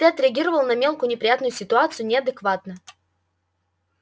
ты отреагировал на мелкую неприятную ситуацию неадекватно